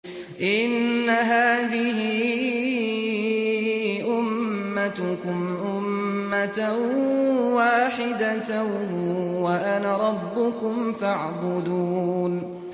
إِنَّ هَٰذِهِ أُمَّتُكُمْ أُمَّةً وَاحِدَةً وَأَنَا رَبُّكُمْ فَاعْبُدُونِ